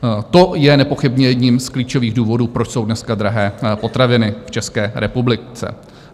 To je nepochybně jedním z klíčových důvodů, proč jsou dneska drahé potraviny v České republice.